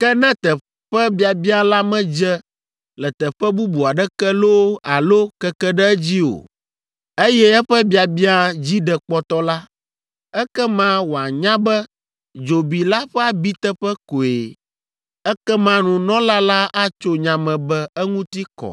Ke ne teƒe biabiã la medze le teƒe bubu aɖeke loo alo keke ɖe edzi o, eye eƒe biabiã dzi ɖe kpɔtɔ la, ekema wòanya be dzobi la ƒe abiteƒe koe. Ekema nunɔla la atso nya me be eŋuti kɔ,